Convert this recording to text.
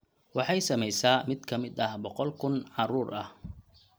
Waxay saamaysaa mid ka mid ah boqol kun carruur ah.